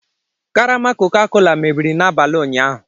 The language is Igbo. Karama Coca-Cola mebiri n'abalị ụnyahụ.